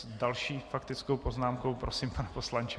S další faktickou poznámkou - prosím, pane poslanče.